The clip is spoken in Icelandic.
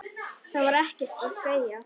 Það var ekkert að segja.